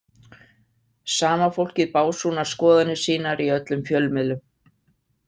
Sama fólkið básúnar skoðanir sínar í öllum fjölmiðlum.